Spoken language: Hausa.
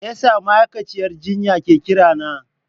Me yasa ma'aikaciyar jinya ke kirana?